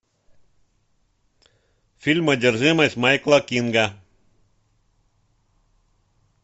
фильм одержимость майкла кинга